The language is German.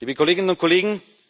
Liebe Kolleginnen und Kollegen,